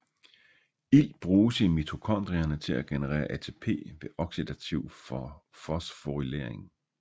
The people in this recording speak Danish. Ilt bruges i mitokondrierne til at generere ATP ved oxidativ fosforylering